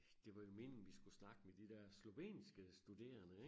Det var jo meningen vi skulle snakke med de dér slovenske studerende ik?